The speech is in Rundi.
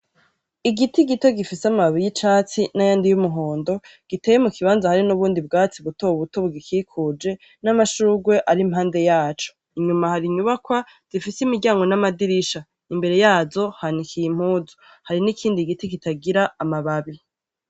Igiti gito gifise amababi y'icatsi n'ayandi y'umuhondo giteye muk'ibanza hari n'ubundi bwatsi butobuto bubikikuje , n'amashurwe ar'impande yaco, inyuma har'inyubakwa zifis'imiryango n'amadirisha, imbere yazo hanikiye impuzu, hari n'ikindi giti kitagira amababi.